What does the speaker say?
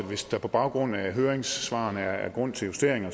hvis der på baggrund af høringssvarene er grund til justeringer